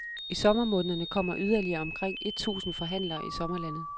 I sommermånederne kommer yderligere omkring et tusinde forhandlere i sommerlandet.